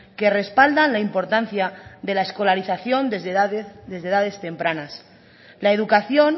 que respaldan la importancia de la escolarización desde edades tempranas la educación